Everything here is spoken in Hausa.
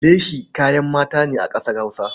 Leshi kayan mata ne a ƙasar Hausa.